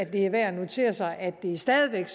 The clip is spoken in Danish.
det er værd at notere sig at det stadig væk